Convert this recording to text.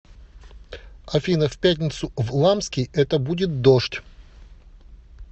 афина в пятницу в ламский это будет дождь